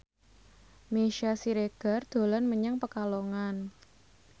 Meisya Siregar dolan menyang Pekalongan